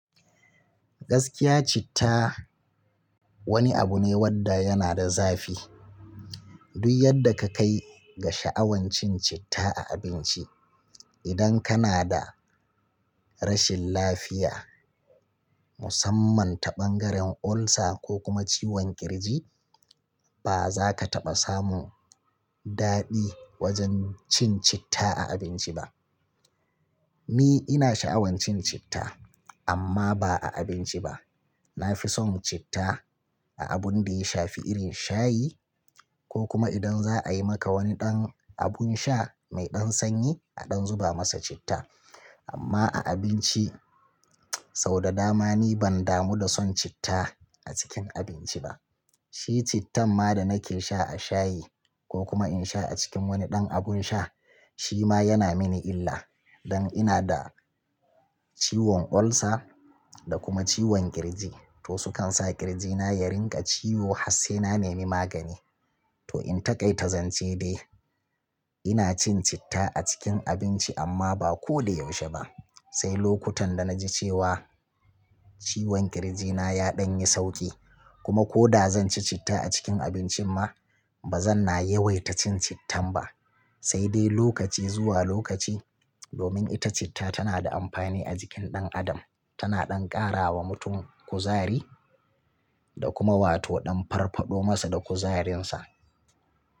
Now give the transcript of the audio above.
Gaskiya citta wani abu ne wanda yana da zafi. Duk yadda ka kai ga sha'awan cin citta a abinci, idan kana da rashin lafiya musamman ta bangaren ulcer ko kuma ciwon ƙirji, ba za ka taɓa samu daɗi wajen cin citta a abinci ba. Ni ina sha'awan cin citta amma ba a abinci ba. Na fi son citta a abun da ya shafi irin shayi ko kuma idan za a yi maka wani ɗan abun sha mai ɗan sanyi a ɗan zuba masa citta. Amma a abinci sau da dama ni ban damu da son citta a cikin abinci ba. Shi cittan ma da nake sha a shayi ko kuma in sha a cikin wani ɗan abun sha shi ma yana mini illa. Dan ina da ciwon ulcer da kuma ciwon ƙirji. To su kan sa ƙirjina ya rinƙa ciwo har sai na nemi magani. To in taƙaita zance dai ina cin citta a cikin abinci amma ba ko da yaushe ba. Sai lokutan da na ji cewa ciwon ƙirjina ya ɗan yi sauƙi kuma ko da zan ci citta a cikin abincin ma ba zan na yawaita cin cittan ba. Sai dai lokaci zuwa lokaci domin ita citta tana da amfani a jikin ɗan adam. Tana ɗan ƙara wa mutum kuzari da kuma wato ɗan farfaɗo masa da kuzarinsa.